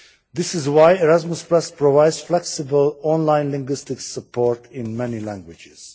This is why Erasmus provides flexible online linguistic support in many languages.